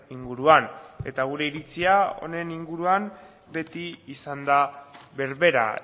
inguruan eta gure iritzia honen inguruan beti izan da berbera